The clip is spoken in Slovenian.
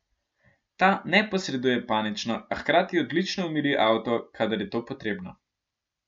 Ta ne posreduje panično, a hkrati odlično umiri avto, kadar je to potrebno.